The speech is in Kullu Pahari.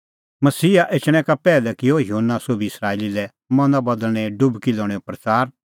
मसीहा एछणैं का पैहलै किअ युहन्ना सोभी इस्राएली लै मना बदल़णें डुबकी लणेंओ प्रच़ार